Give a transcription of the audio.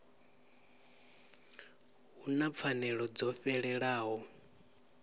hu na pfanelo dzo fhelelaho